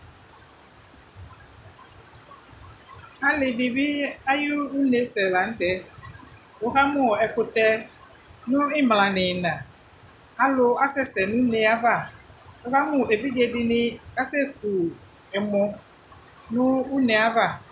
ali di bi ayi une sɛ lantɛ wo ka mo ɛkotɛ no imla no ina alo asɛ sɛ no une ava wo ka mo evidze di ni asɛ ku ɛmɔ no une ava